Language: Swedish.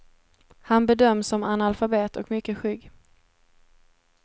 Han bedöms som analfabet och mycket skygg.